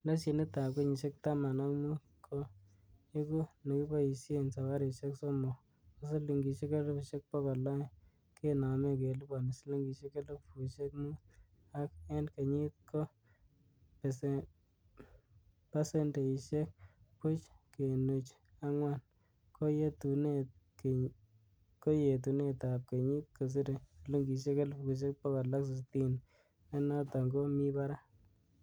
Leshenitab kenyisiek taman ak mut, ko iku nekiboishien sabarisiek somok, ko silingisiek elfusiek bogol oeng, kenome keliponi silingisiek elfusiek mut, ak en kenyit ko pasendeishiek buch kenuch angwan, ko yetunetab kenyit kosire silingisiek elfusiek bogol ak sitini, nenoton ko mi barak.